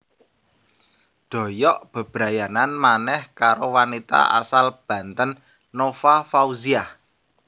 Doyok bebrayanan manèh karo wanita asal Banten Nova Fauziah